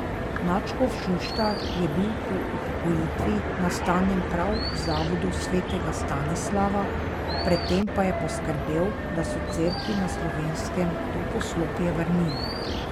Nadškof Šuštar je bil po upokojitvi nastanjen prav v Zavodu svetega Stanislava, pred tem pa je poskrbel, da so Cerkvi na Slovenskem to poslopje vrnili.